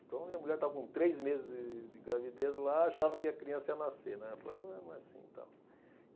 Então, minha mulher estava com três meses de de gravidez lá, e achava que a criança ia nascer, né. Aí eu falei não, não é assim, tal.